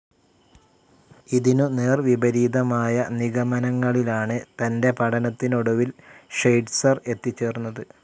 ഇതിനു നേർ‌വിപരീതമായ നിഗമനങ്ങളിലാണ്‌ തന്റെ പഠനത്തിനൊടുവിൽ ഷ്വൈറ്റ്സർ എത്തിച്ചേർന്നത്.